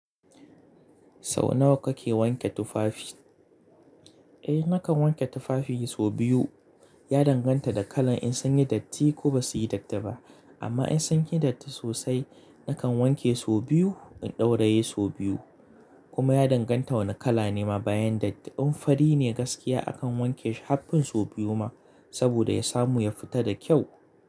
Sau nawa kake wanke tufafi? Eh nakan wanke tufafi sau biyu. Ya danganta da kalan in sun yi datti ko ba su yi datti ba. Amma in sun yi datti sosai nakan wanke sau biyu, in ɗauraye sau biyu. Kuma ya danganta wane kala ne ma bayan datti. In fari ne gaskiya akan wanke shi har fin sau biyu ma saboda ya samu ya fita da kyau.